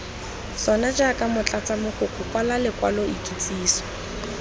sona jaaka motlatsamogokgo kwala lekwaloikitsiso